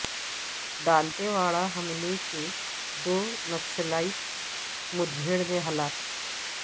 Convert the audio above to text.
دانتے واڑہ حملے کے دو نکسلائیٹ مدھیڑ میں ہلاک